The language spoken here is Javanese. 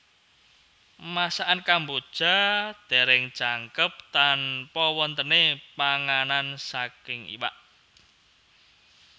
Masakan Kamboja dereng jangkep tanpa wontene panganan saking iwak